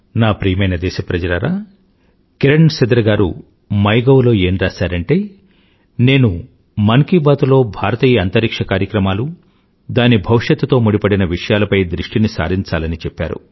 నాప్రియమైనదేశప్రజలారా కిరణ్సిదర్గారుమైగౌలోఏంరాసారంటే నేనుమన్కీబాత్లోభారతీయఅంతరిక్ష్యకార్యక్రమాలు దానిభవిష్యత్తుతోముడిపడినవిషయాలపైదృష్టినిసారించాలనిచెప్పారు